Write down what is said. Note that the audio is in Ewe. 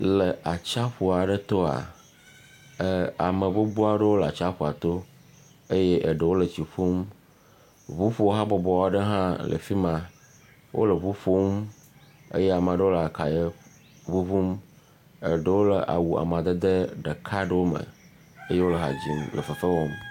Le atsiaƒu aɖe toa, ɛɛ ame gbogbo aɖewo le atsiʋaƒua to eye ama ɖew le tsi ƒum ŋuƒohabɔbɔ aɖe hã le fi ma. Wole ŋu ƒom eye ama ɖewo le akayɛ ŋuŋum, eɖewo le awu amadede ɖeka aɖewo me eye wo ha dzim le fefe wɔm.